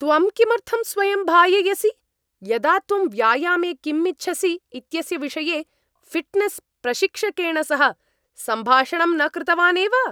त्वं किमर्थं स्वयं भाययसि, यदा त्वं व्यायामे किम् इच्छसि इत्यस्य विषये फिट्नेस् प्रशिक्षकेण सह सम्भाषणं न कृतवान् एव?